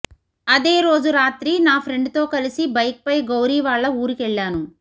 అదే రోజు రాత్రి నా ఫ్రెండ్ తో కలిసి బైక్ పై గౌరీ వాళ్ల ఊరికెళ్లాను